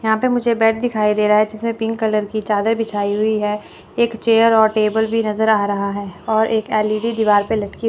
यहां पर मुझे बेड दिखाई दे रहा है जिसे पिंक कलर की चादर बिछाई हुई है। एक चेयर और टेबल भी नजर आ रहा है और एक एल_ई_डी दीवाल पे लटकी--